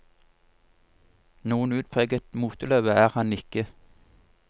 Noen utpreget moteløve er han ikke.